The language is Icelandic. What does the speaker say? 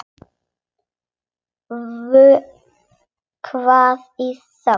Vökvar í þögn.